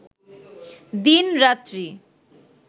দিন, রাত্রি